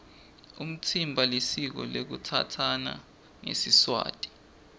umtsimba lisiko lekutsatsana ngesiswati